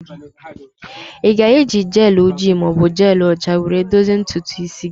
Ị ga-eji gel ojii ma ọ bụ jelụ ọcha were dozie ntutu isi gị?